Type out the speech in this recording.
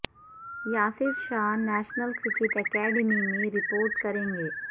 Yasir Shah national cricket academy میں report کریں گے